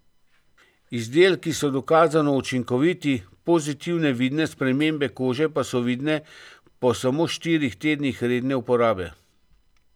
Izdelki so dokazano učinkoviti, pozitivne vidne spremembe kože pa so vidne po samo štirih tednih redne uporabe.